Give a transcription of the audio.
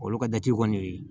Olu ka jate kɔni